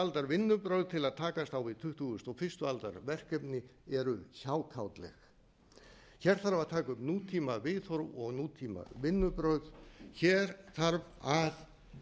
aldar vinnubrögð til að takast á við tuttugustu og fyrstu aldar verkefni eru hjákátleg hér hafa að taka upp nútímaviðhorf og nútímavinnubrögð hér þarf að